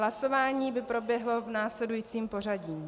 Hlasování by proběhlo v následujícím pořadí.